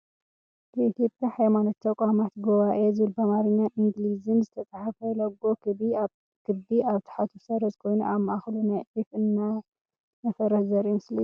የኢትዮያ ሃይማኖት ተቋማት ጉባኤ ዝበል ብኣማርኛን ኢንግሊዝን ዝተፃሓፈ ሎጎ ክቢ ኣብታሕቱ ሰረዝ አ ኮይኑ ኣብ ማእከሉ ናይዒፍ እናነፈረት ዘርኢ ምስሊ እዩ ።